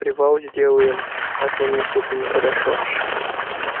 привал сделаем а то мне что-то нехорошо